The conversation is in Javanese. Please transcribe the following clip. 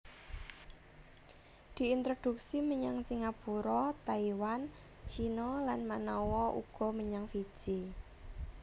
Diintroduksi menyang Singapura Taiwan Cina lan manawa uga menyang Fiji